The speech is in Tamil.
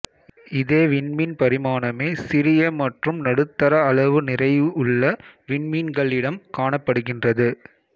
இதே விண்மீன் பரிமாணமே சிறிய மற்றும் நடுத்தர அளவு நிறையுள்ள விண்மீன்களிடம் காணப்படுகின்றது